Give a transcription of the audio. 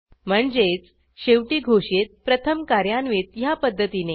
म्हणजेच शेवटी घोषित प्रथम कार्यान्वित ह्या पध्दतीने